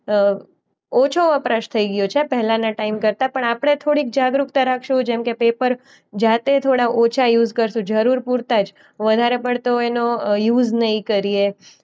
અ ઓછો વપરાશ થઈ ગયો છે પહેલાના ટાઈમ કરતા. પણ આપણે થોડીક જાગૃતતા રાખશું જેમકે પેપર જાતે થોડા યુઝ કરશું જરૂર પૂરતા જ. વધારે પડતો એનો અ યુઝ નઈ કરીએ.